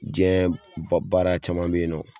Jɛn ba baara caman be yen nɔ